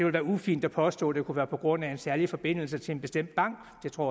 være ufint at påstå at det kunne være på grund af en særlig forbindelse til en bestemt bank det tror